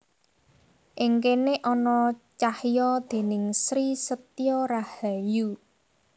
Ing kéné ana cahya déning Sri Setyo Rahayu